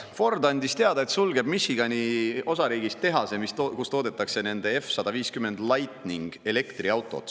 Ford andis teada, et sulgeb Michigani osariigis tehase, kus toodetakse F-150 Lightning elektriautot.